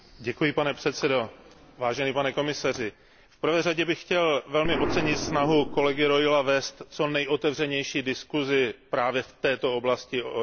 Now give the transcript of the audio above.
Vážený pane komisaři, v prvé řadě bych chtěl velmi ocenit snahu kolegy Reula vést co nejotevřenější diskuzi právě v této oblasti obnovitelných zdrojů.